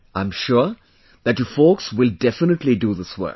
I am sure that you folks will definitely do this work